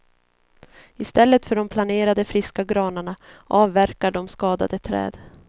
I stället för de planerade friska granarna avverkar de skadade träd.